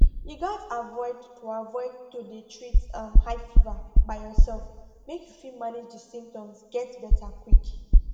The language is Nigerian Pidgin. you gatz avoid to avoid to dey treat um high fever by yourself make you fit manage di symptoms get beta quick